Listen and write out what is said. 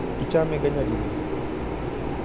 Ichamega nyadidi?